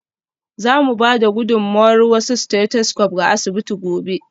Za mu ba da gudummawar wasu stethoscopes ga asibiti gobe.